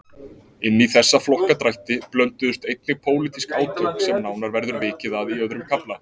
Inní þessa flokkadrætti blönduðust einnig pólitísk átök sem nánar verður vikið að í öðrum kafla.